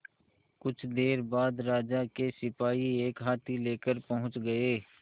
कुछ देर बाद राजा के सिपाही एक हाथी लेकर पहुंच गए